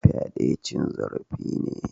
Fyade cin zarafi ne.